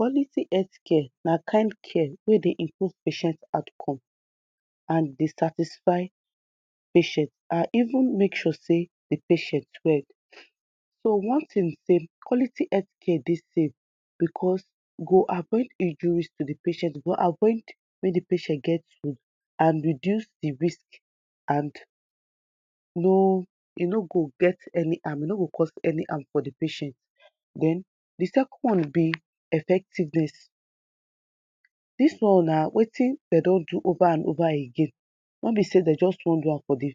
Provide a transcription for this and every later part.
Quality health care na kind health care wey dey improve patient outcome and dey satify patient and even make sure say di patient well, so one tin bi say quality health care dey safe because e go avoid injuries to di patient e go avoid make di patient dey hope and reduce di risk and no, e no go get harm, e no go cos any harm for di patient, the second one bí effectiveness, dis one na wetin dem don do over and over again, no ni say dem just won do am for di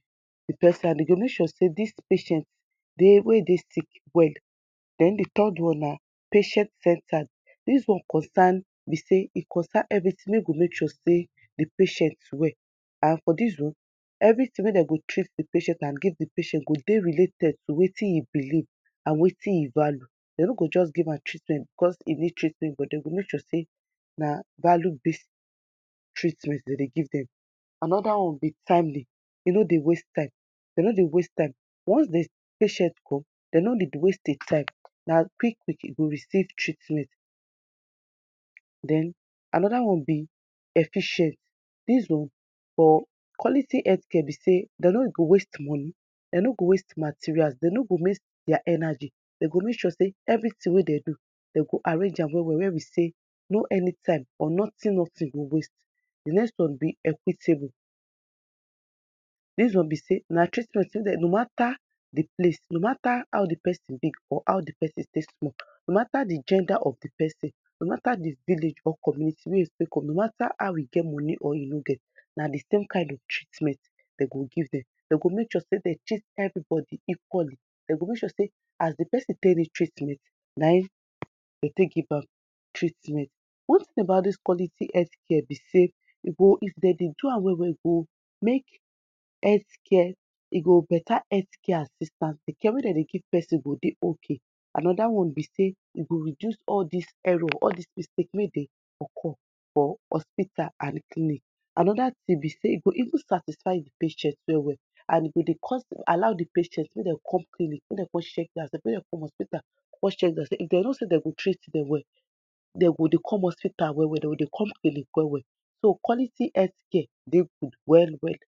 person and Dey make sure say dis patient wey dey sick well and di third one na patient centered, dis one concern, bí say e concern everything wey go make sure say di patient well and for dis one, everything wey dem go treat di person and give di patient go dey related to wetin e believe and wetin e value, dem no go just give am treatment because e need treatment but dem go make sure say na value treatment dem dey give dem. Another one bí timely, e no dey waste time, dem no dey waste time once di patient come, dem no dey waste time di time, na quick quick e go receive treatment (? pause) den another one bi efficient of quality health care bi say dem no go waste money, dem no go waste material dem no go waste día energy, dem go make sure say everything wey dem do, dem go arrange am well well where we say no any type or nothing nothing go waste. Di next one bí equitable, dis one ni say na treatment wey dem no, no matter how di person dey, no matter who di person place, no matter how di person bíg or how do person small, no matter di gender of di person, no matter di village or community wey e come ftom, no matter how you get money of you no get, na di same kind of treatment dem go give dem, dem go make sure say dey treat everybody equally, dem go make sure say as di person take need treatment na e dem take give am treatment. One tin about dis quality Healthcare bí say e go, if dem de do am well well go make Healthcare, ẹ go better Healthcare as it stand, di cure wey dem de give person go dey okay, another one bí say e go reduce all these error all these mistake wey dey occur for hospital and clinic. Another thing bi say e go even satisfy di patient well well and e go dey cos allow di patient make dem come clinic, make dem con checky día self, make dem call hospital con check día self, if dem know say dem o treat dem well, dem go dey come hospital well well, dem go dey con clinic well well, so quality Healthcare dey cool well well.